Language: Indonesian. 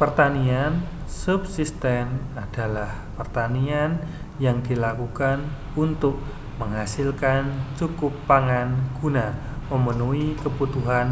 pertanian subsisten adalah pertanian yang dilakukan untuk menghasilkan cukup pangan guna memenuhi kebutuhan